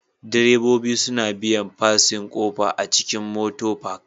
Direbobi suna biyan fasin kofa a cikin Motar Park